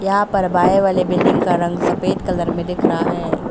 यहां पर बाएं वाले बिल्डिंग का रंग सफेद कलर में दिख रहा है।